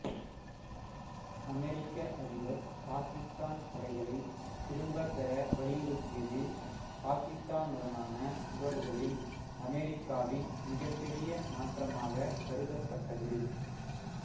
அமெரிக்க அதிபர் பாகிஸ்தான் படைகளைத் திரும்பப் பெற வலியுறுத்தியது பாகிஸ்தானுடனான உறவுகளில் அமெரிக்காவின் மிகப்பெரிய மாற்றமாகக் கருதப்பட்டது